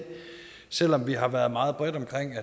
selv om vi har været meget bredt omkring